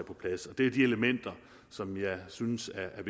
på plads det er de elementer som jeg synes er